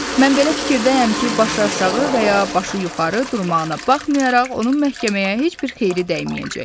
Mən belə fikirdəyəm ki, başı aşağı və ya başı yuxarı durmağına baxmayaraq, onun məhkəməyə heç bir xeyri dəyməyəcək.